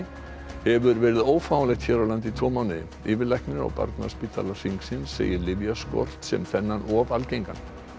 hefur verið ófáanlegt hér á landi í tvo mánuði yfirlæknir á Barnaspítala Hringsins segir lyfjaskort sem þennan of algengan